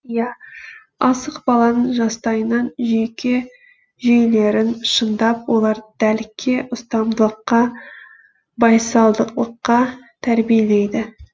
ия асық баланың жастайынан жүйке жүйелерін шыңдап оларды дәлдікке ұстамдылыққа байсалдылыққа тәрбиелеиді